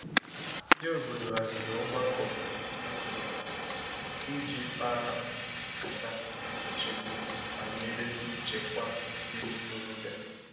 Ndị obodo haziri ogbakọ ihe omumu i ji kpa nkata nchegbu banyere nchekwa ndị ntorobịa.